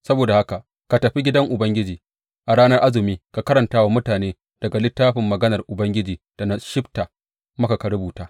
Saboda haka ka tafi gidan Ubangiji a ranar azumi ka karanta wa mutane daga littafin maganar Ubangiji da na shibta maka ka rubuta.